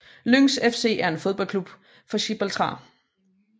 Lynx FC er en fodboldklub fra Gibraltar